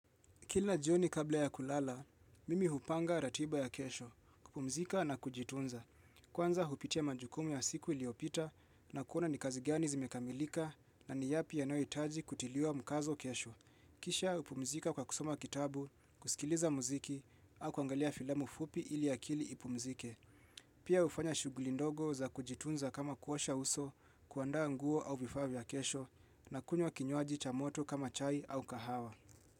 Kila jioni kabla ya kulala, mimi hupanga ratiba ya kesho, kupumzika na kujitunza. Kwanza hupitia majukumu ya siku iliyopita na kuona ni kazi gani zimekamilika na ni yapi yanayohitaji kutiliwa mkazo kesho. Kisha, hupumzika kwa kusoma kitabu, kusikiliza muziki, au kuangalia filamu fupi ili akili ipumzike. Pia hufanya shughuli ndogo za kujitunza kama kuosha uso, kuaanda nguo au vifaa vya kesho na kunywa kinywaji cha moto kama chai au kahawa.